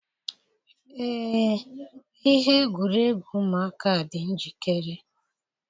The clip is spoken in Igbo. Ee, ihe egwuregwu ụmụaka dị njikere.